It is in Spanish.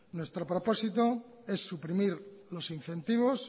nuestro propósito es suprimir los incentivos